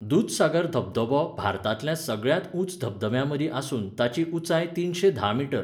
दुधसागर धबधबो भारतांतल्या सगळ्यांत उंच धबधब्यांमदीं आसून ताची उंचाय तिनशे धा मीटर.